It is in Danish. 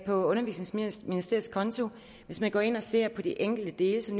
undervisningsministeriets konto hvis man går ind og ser på de enkelte dele så